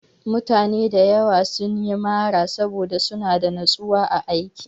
Mutane da yawa sun yi mara saboda suna da natsuwa a aiki.